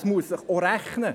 Es muss sich auch rechnen.